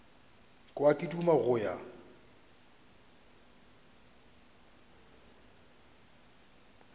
kwa ke duma go ya